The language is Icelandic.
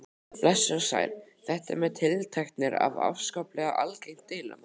Blessuð og sæl, þetta með tiltektirnar er afskaplega algengt deilumál.